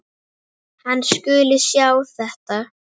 Hann skuli sjá um þetta.